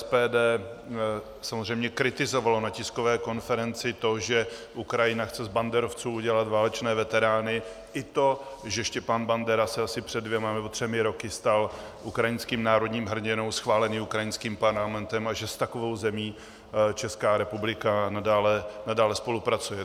SPD samozřejmě kritizovalo na tiskové konferenci to, že Ukrajina chce z banderovců udělat válečné veterány, i to, že Stepan Bandera se asi před dvěma nebo třemi roky stal ukrajinským národním hrdinou schváleným ukrajinským parlamentem a že s takovou zemí Česká republika nadále spolupracuje.